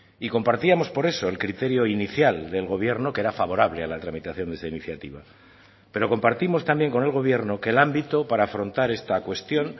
y compartíamos por eso el criterio inicial del gobierno que era favorable a la tramitación de esa iniciativa pero compartimos también con el gobierno que el ámbito para afrontar esta cuestión